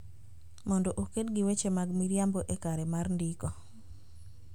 Mondo oked gi weche mag miriambo e kare mar ndiko